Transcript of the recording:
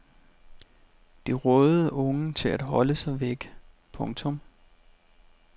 De rådede unge til at holde sig væk. punktum